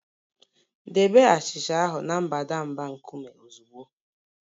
Debe achịcha ahụ na mbadamba nkume ozugbo